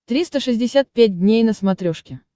триста шестьдесят пять дней на смотрешке